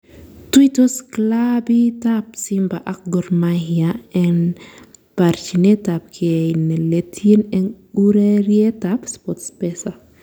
Tuitos kilabit ab Simba ak Gor Mahia en barchinet ab gei ne letyin en ureriet ab Sportpesa